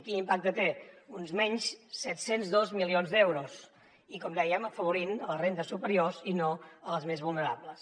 quin impacte té uns menys set cents i dos milions d’euros i com dèiem afavorint les rendes superiors i no les més vulnerables